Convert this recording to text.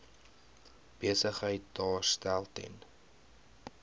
besigheid daarstel ten